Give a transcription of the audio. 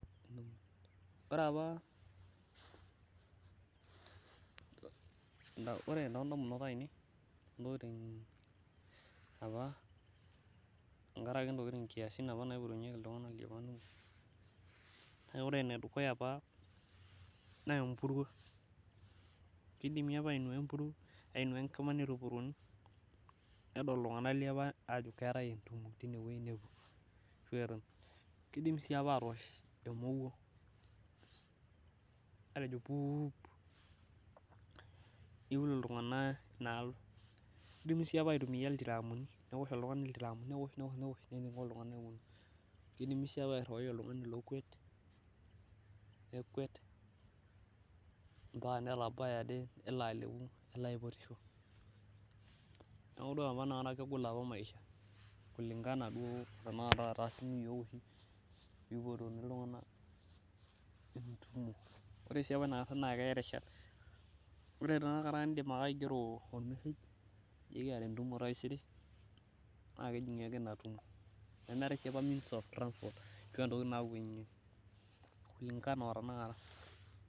Ore apa, ore toodamubot ainei tenkaraki nkiasin apa naipotunyeki iltunganak. Kake ore ene dukuya apa naa empuruo. Kidimi apa ainua enkima nitupurunu, nedol iltunganak ajo keetae entumo, kidim sii apa atoosh emowuo. niul iltunganak inaalo, neoshi iltiraamuni nepuo iltunganak inaalo. kidimi sii apa airiwai oltungani lookuet nekuet, nelo abaya nelo aipotosho. Neeku ore apa inakata kegol apa maisha kulingana duo o te akata. ore sii apa inakata naa keya rishat. Ore tenakata iger ake message ajo ekiata entumo taisere. naa kejingi ake Ina tumo. nemeetae sii apa means of transport ashu ntokitin napuonunyeki. kulingana o tanakata.